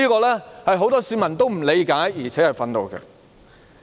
這是很多市民不理解，而且感到憤怒的。